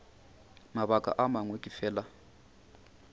mabaka a mangwe ke fela